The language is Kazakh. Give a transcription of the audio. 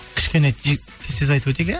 кішкене тез тез айтып өтейік иә